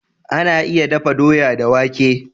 Ana iya dafa doya da wake.